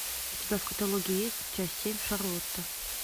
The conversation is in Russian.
у тебя в каталоге есть часть семь шарлотта